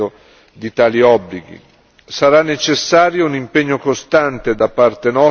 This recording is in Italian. Sarà necessario un impegno costante da parte nostra e della comunità internazionale.